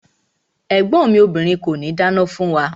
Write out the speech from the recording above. Ẹ̀gbọ́n mi obìrin kòní dáná fún wa.